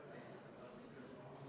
Hea ettekandja!